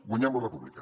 guanyem la república